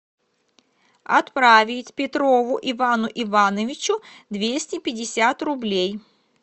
отправить петрову ивану ивановичу двести пятьдесят рублей